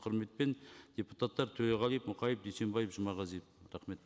құрметпен депутаттар төреғалиев мұқаев дүйсенбаев жұмағазиев рахмет